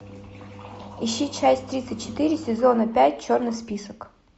ищи часть тридцать четыре сезона пять черный список